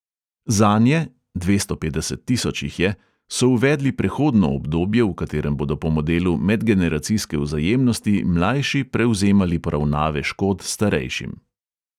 Zanje (dvesto petdeset tisoč jih je) so uvedli prehodno obdobje, v katerem bodo po modelu medgeneracijske vzajemnosti mlajši prevzemali poravnave škod starejšim.